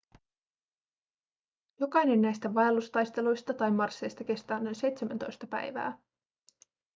jokainen näistä vaellustaisteluista tai marsseista kestää noin 17 päivää